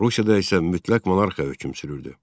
Rusiyada isə mütləq monarxiya hökm sürürdü.